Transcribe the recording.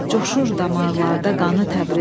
Coşur damarlarda qanı Təbrizim.